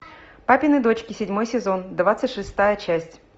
папины дочки седьмой сезон двадцать шестая часть